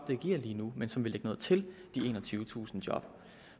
vil give lige nu men som vil lægge noget til de enogtyvetusind job